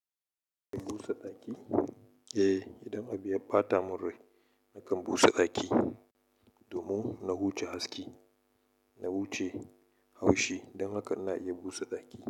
Busa ɗaki? Eh, idan abu ya ɓata min rai nakan busa ɗaki. Domin na huce haske, na huce haushi, don haka ina iya busa ɗaki.